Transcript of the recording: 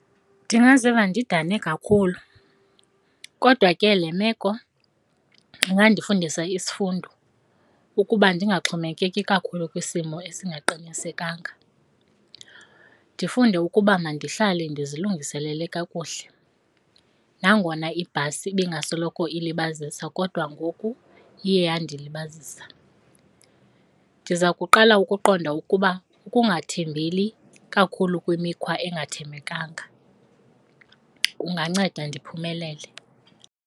Ndingaziva ndidane kakhulu kodwa ke le meko ingandifundisa isifundo ukuba ndingaxhomekeki kakhulu kwisimo esingaqinisekanga. Ndifunde ukuba mandihlale ndizilungiselele kakuhle, nangona ibhasi ibingasoloko ilibazisa kodwa ngoku iye yandilibazisa. Ndiza kuqala ukuqonda ukuba ukungathembeli kakhulu kwimikhwa engathembekanga kunganceda ndiphumelele.